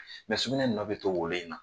sugunɛ nɔ bɛ to wolo in na